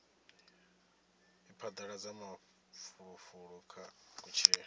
u phadaladza mafulufulo kha kutshilele